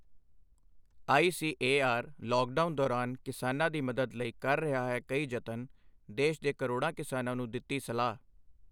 ICAR lockdown ਦੌਰਾਨ ਕਿਸਾਨਾਂ ਦੀ ਮਦਦ ਲਈ ਕਰ ਰਿਹਾ ਹੈ ਕਈ ਜਤਨ, ਦੇਸ਼ ਦੇ ਕਰੋੜਾਂ ਕਿਸਾਨਾਂ ਨੂੰ ਦਿੱਤੀ ਸਲਾਹ